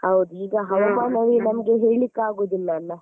ಹೌದು ಈಗ ಹವಾಮಾನವೇ ನಮ್ಗೆ ಹೇಳ್ಳಿಕ್ಕಾಗುದಿಲ್ಲ ಅಲ್ಲ.